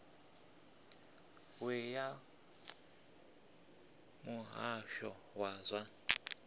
we ya muhasho wa zwa